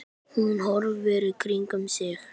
Hún horfir í kringum sig.